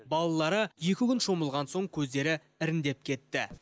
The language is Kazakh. балалары екі күн шомылған соң көздері іріңдеп кетті